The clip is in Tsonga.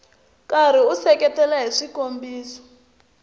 karhi u seketela hi swikombiso